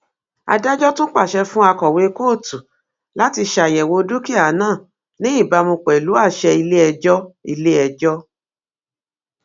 adájọ tún pàṣẹ fún akọwé kóòtù láti ṣàyẹwò dúkìá náà ní ìbámu pẹlú àṣẹ iléẹjọ iléẹjọ